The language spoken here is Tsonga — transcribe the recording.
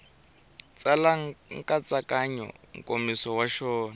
tsala nkatsakanyo nkomiso wa xona